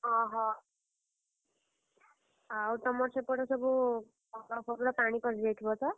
ଅହୋ! ଆଉ ତମର ସେପଟେ ସବୁ, ପାଣି ପଶିଯାଇଥିବତ?